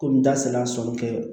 Komi n da sera kɛ